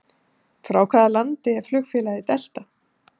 Frá hvaða landi er flugfélagið Delta?